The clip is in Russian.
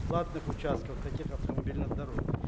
платных участков таких автомобильных дорог